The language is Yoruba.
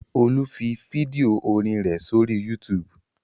Olú fi fídíò orin rẹ̀ sórí YouTube.